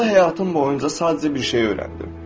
Uğurlu həyatım boyunca sadəcə bir şeyi öyrəndim.